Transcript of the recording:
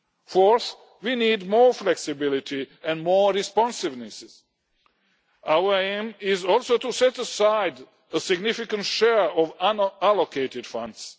Fourth, we need more flexibility and more responsiveness. Our aim is also to set aside a significant share of unallocated